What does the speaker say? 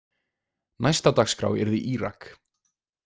Næst á dagskrá yrði Írak.